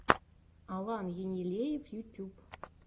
алан енилеев ютьюб